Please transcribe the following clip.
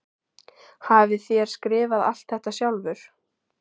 Hafið þér skrifað allt þetta sjálfur?